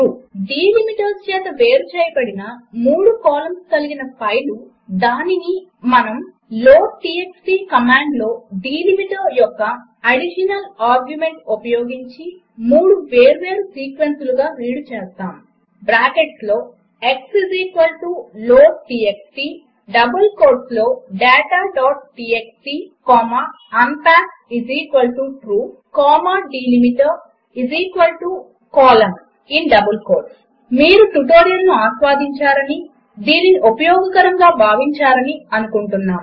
delimiters చేత వేరు చేయబడిన మూడు కాలమ్స్ కలిగిన ఫైలు దానిని మనము లోడ్టీఎక్స్టీ కమాండ్లో డిలిమిటర్ యొక్క అదిషనల్ ఆర్గ్యుమెంట్ ఉపయోగించి మూడు వేర్వేరు సీక్వెన్సులుగా రీడ్ చేస్తాము బ్రాకెట్స్లో x లోడ్టీఎక్స్టీ డబుల్ కోట్స్లో dataటీఎక్స్టీ comma unpackTrue comma delimiterin double quotes colon మీరు ట్యుటోరియల్ను ఆస్వాదించారని దీనిని ఉపయోగకరముగా ఉందని భావించారని అనుకుంటున్నాము